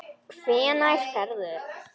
Hvenær ferðu?